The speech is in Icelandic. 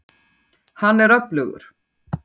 Hann er öflugur.